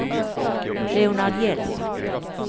Leonard Hjelm